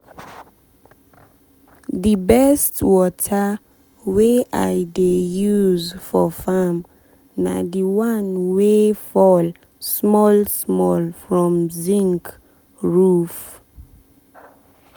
the best water wey i dey use for farm na the one wey fall small small from zinc roof.